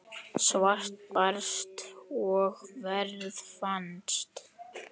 Svar barst og verð fannst.